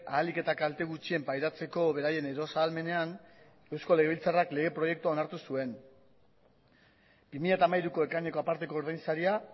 ahalik eta kalte gutxien pairatzeko beraien eros ahalmenean eusko legebiltzarrak lege proiektua onartu zuen bi mila hamairuko ekaineko aparteko ordainsaria